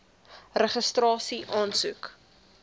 registrasieaansoek